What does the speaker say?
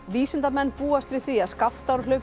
vísindamenn búast við því að